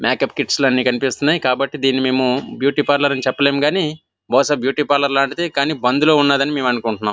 Makeup kits అని కనిపిస్తున్నాయి కాబటి మేము బ్యూటీ పార్లర్ అని చెపలేము కానీ బహుశా బ్యూటీ పార్లర్ టిది కానీ బందులో ఉనాది అని మేము అనుకొంటునము.